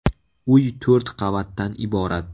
Uy to‘rt qavatdan iborat.